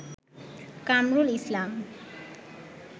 Kamrul Islam